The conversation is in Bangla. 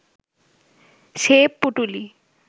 সে পুঁটুলি